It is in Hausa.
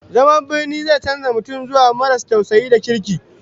Zaman birni zai canza mutum zuwa maras tausayi da kirki